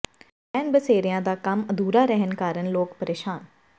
ਰੈਣ ਬਸੇਰਿਆਂ ਦਾ ਕੰਮ ਅਧੂਰਾ ਰਹਿਣ ਕਾਰਨ ਲੋਕ ਪ੍ਰੇਸ਼ਾਨ